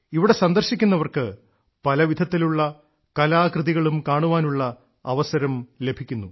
ഇവിടെ സന്ദർശിക്കുന്നവർക്ക് പലവിധത്തിലുള്ള കലാകൃതികളും കാണാനുള്ള അവസരം ലഭിക്കുന്നു